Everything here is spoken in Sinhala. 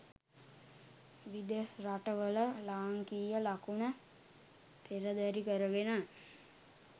විදෙස් රට වල ලාංකීය ලකුණ පෙරදැරි කරගෙන